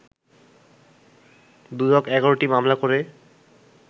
দুদক ১১টি মামলা করে